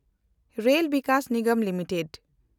rail Vikas Nigam limited